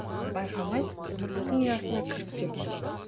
байқамай иттің ұясына кіріп кеттім